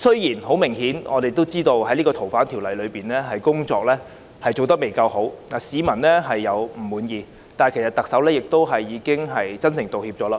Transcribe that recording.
政府就《逃犯條例》的修訂工作明顯做得不夠好，令市民不滿，但特首已真誠道歉。